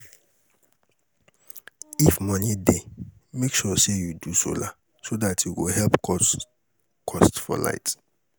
if moni dey, mek sure say yu do solar so dat e go help cut cost for light